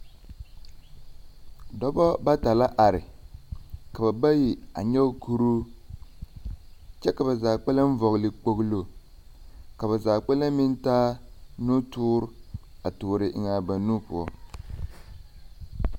Dɔbɔ bata la are, ka ba bayi a nyɔge kuruu. Kyɛ ka ba Bayi a vɔgle kpogelo. Ka zaa kpɛlɛ meŋ taa nutoor a toore eŋaa ba nu poɔ.